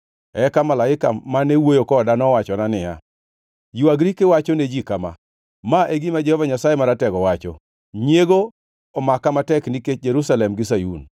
Eka malaika mane wuoyo koda nowachona niya, “Ywagri kiwacho ne ji kama: Ma e gima Jehova Nyasaye Maratego wacho, ‘Nyiego omaka matek nikech Jerusalem gi Sayun,